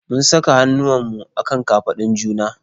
Mun saka hannuwanmu a kan kafadun juna.